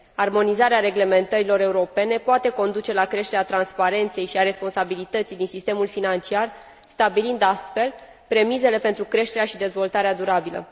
Armonizarea reglementărilor europene poate conduce la creșterea transparenței și a responsabilității din sistemul financiar, stabilind astfel premisele pentru creșterea și dezvoltarea durabilă.